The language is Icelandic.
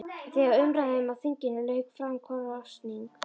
Þegar umræðum á þinginu lauk fór fram kosning.